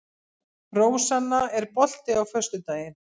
Rósanna, er bolti á föstudaginn?